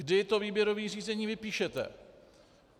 Kdy to výběrové řízení vypíšete.